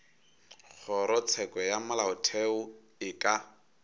kgorotsheko ya molaotheo e ka